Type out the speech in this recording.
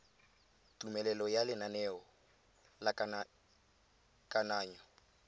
tumelelo ya lenaneo la kananyo